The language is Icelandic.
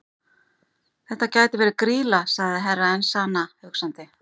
Þetta gæti verið Grýla, sagði Herra Enzana hugsandi.